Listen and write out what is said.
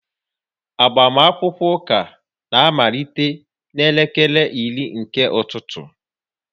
Agbamakwụkwọ ụka ga-amalite n'elekere iri nke ụtụtụ